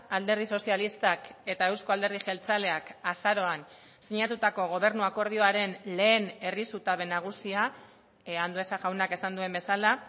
alderdi sozialistak eta euzko alderdi jeltzaleak azaroan sinatutako gobernu akordioaren lehen herri zutabe nagusia andueza jaunak esan duen bezala